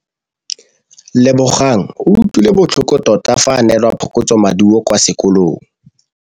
Lebogang o utlwile botlhoko tota fa a neelwa phokotsômaduô kwa sekolong.